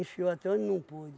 até onde não pôde.